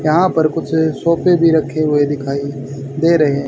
यहां पर कुछ सोफे भी रखे हुए दिखाइए दे रहे हैं।